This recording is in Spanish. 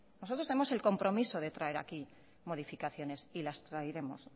nosotros tenemos el compromiso de traer aquí modificaciones y las traeremos